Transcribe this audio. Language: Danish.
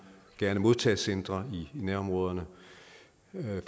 gerne modtagecentre i nærområderne